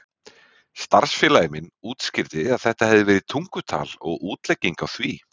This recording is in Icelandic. Starfsfélagi minn útskýrði að þetta hefði verið tungutal og útlegging á því.